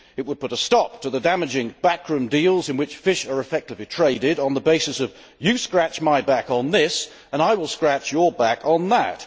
it would put a stop to the damaging backroom deals in which fish are effectively traded on the basis of you scratch my back on this and I will scratch your back on that'.